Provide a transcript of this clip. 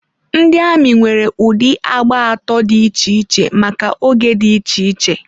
Ndị amị nwere ụdị agba atọ dị iche iche maka oge dị iche iche.